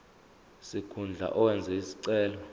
sikhundla owenze isicelo